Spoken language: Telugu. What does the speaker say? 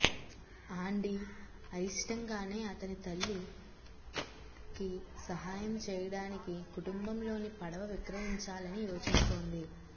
ఆండీ అయిష్టంగానే అతని తల్లికి సహాయం చేయడానికి కుటుంబంలోని పడవ విక్రయించాలని యోచిస్తోంది